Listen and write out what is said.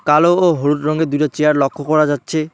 কালো ও হলুদ রঙের দুইটা চেয়ার লক্ষ করা যাচ্ছে।